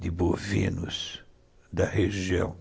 de bovinos da região.